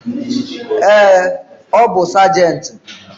Ee, ọ bu sajenti